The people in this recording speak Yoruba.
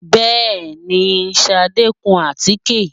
Bẹ́ẹ̀ni, Ṣadé ń kun àtíkè